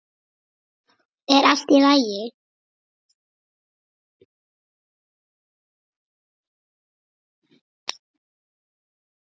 Er allt í lagi?